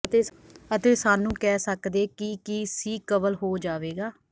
ਅਤੇ ਸਾਨੂੰ ਕਹਿ ਸਕਦੇ ਕਿ ਕੀ ਸੀਕਵਲ ਹੋ ਜਾਵੇਗਾ